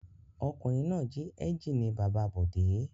Ọkùnrin náà jí ẹ́ńjínì bàbá Bọ̀dé.